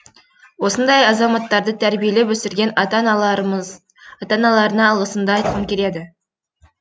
осындай азаматтарды тәрбиелеп өсірген ата аналарына алғысымды айтқым келеді